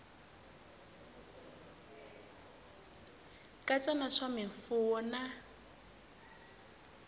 katsa na swa mimfuwo na